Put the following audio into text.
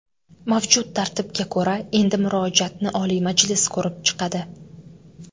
Mavjud tartibga ko‘ra, endi murojaatni Oliy Majlis ko‘rib chiqadi.